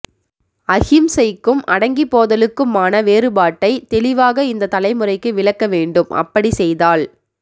அஹிம்சைக்கும் அடங்கி போதலுக்கும்மான வேறுபாட்டை தெளிவாக இந்த தலைமுறைக்கு விளக்க வேண்டும் அப்படி செய்தால்